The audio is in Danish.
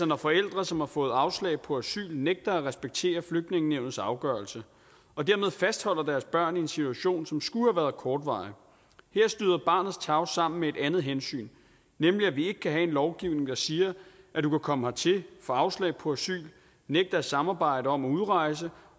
når forældre som har fået afslag på asyl altså nægter at respektere flygtningenævnets afgørelse og dermed fastholder deres børn i en situation som skulle have været kortvarig her støder barnets tarv sammen med et andet hensyn nemlig at vi ikke kan have en lovgivning der siger at du kan komme hertil få afslag på asyl nægte at samarbejde om at udrejse